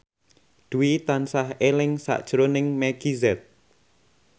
Dwi tansah eling sakjroning Meggie Z